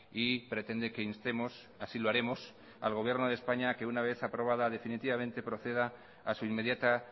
y pretende que instemos así lo aremos al gobierno de españa que una vez aprobada definitivamente proceda a su inmediata